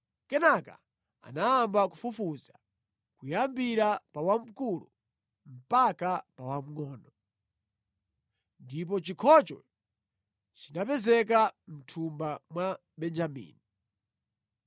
Kenaka anayamba kufufuza, kuyambira pa wamkulu mpaka pa wamngʼono. Ndipo chikhocho chinapezeka mʼthumba mwa Benjamini.